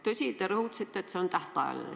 Tõsi, te rõhutasite, et see on tähtajaline.